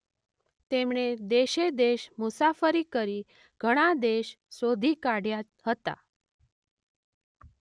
તેમણે દેશેદેશ મુસાફરી કરી ઘણા દેશ શોધી કાઢ્યા હતા.